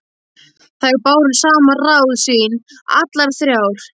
Þær báru saman ráð sín allar þrjár.